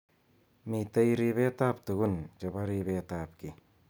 Mitei ribet ab tukun chebo ribet ab ki.